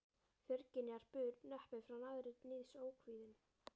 Fjörgynjar bur neppur frá naðri níðs ókvíðinn.